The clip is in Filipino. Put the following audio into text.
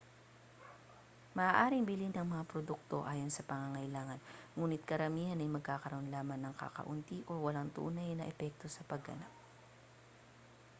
maaaring bilhin ang mga produkto ayon sa pangangailangan nguni't karamihan ay magkakaroon lamang ng kakaunti o walang tunay na epekto sa pagganap